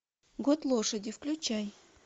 год лошади включай